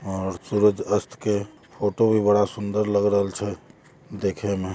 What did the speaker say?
और सूरज अस्त के फोटो भी बड़ा सुन्दर लग रहल छे देखें में।